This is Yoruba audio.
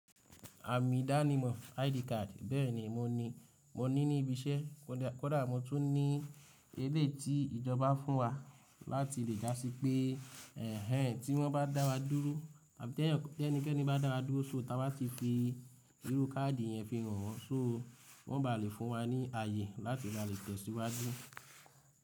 Àmì ìdánimọ̀ ID card bẹ́ẹ̀ni mo ní, mo ní ní ibi iṣẹ́ kódà mo tún ní eléti ìjọba fún wa láti lè dásí pé ẹ̀hen tí wọ́n bá dá wa dúró àbí tí ẹnikẹ́ni bá dá wa dúró sóta wá ti fi irú káàdì yẹn fi hàn wọ́n sóo wọ́n ba lè fún wa ní àyè láti lè tẹ̀síwájú.